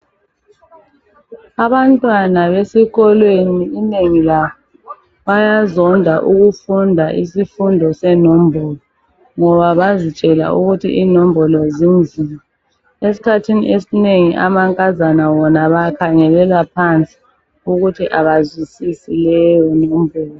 Abantwana besikolweni inengi labo bayazonda ukufunda isifundo senombolo ngoba bazitshela ukuthi inombolo zinzima , eskhathini esinengi amankazana wona bawakhangelela phansi ukuthi abazwisisi leyo nombolo